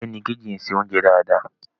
Morẹ́nikéjì ń se oúnjẹ dáadáa